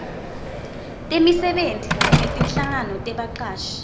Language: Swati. temisebenti netinhlangano tebacashi